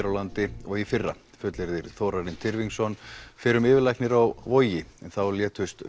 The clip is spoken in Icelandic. á landi og í fyrra fullyrðir Þórarinn Tyrfingsson fyrrum yfirlæknir á Vogi en þá létust